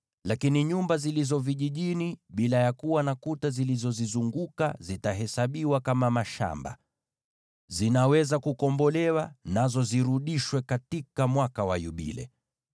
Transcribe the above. Lakini nyumba zilizo vijijini bila ya kuwa na kuta zilizozizunguka zitahesabiwa kama mashamba. Zinaweza kukombolewa, nazo zirudishwe katika mwaka wa Yubile.